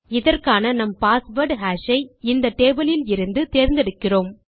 இதற்கான நம் password hash ஐ இந்த டேபிள் லிலிருந்து தேர்ந்தெடுக்கிறோம்